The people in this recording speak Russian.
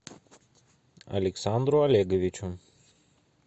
александру олеговичу